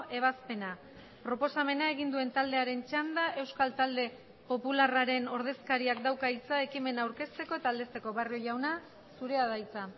ebazpena proposamena egin duen taldearen txanda euskal talde popularraren ordezkariak dauka hitza ekimena aurkezteko eta aldezteko barrio jauna zurea da hitza